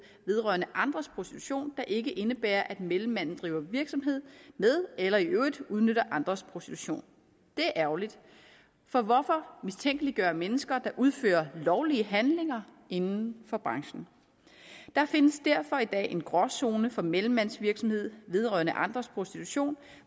vedrørende andres prostitution der ikke indebærer at mellemmanden driver virksomhed med eller i øvrigt udnytter andres prostitution det er ærgerligt for hvorfor mistænkeliggøre mennesker der udfører lovlige handlinger inden for branchen der findes derfor i dag en gråzone for mellemmandsvirksomhed vedrørende andres prostitution